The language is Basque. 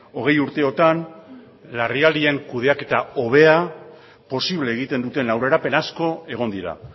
hogei urteotan larrialdien kudeaketa hobea posible egiten duten aurrerapen asko egon dira